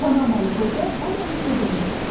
Panamalı qoca Boryanı söhbətə tutdu.